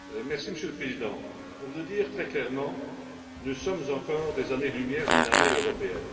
Monsieur le Président, pour le dire très clairement, nous sommes encore à des années lumière d'une armée européenne.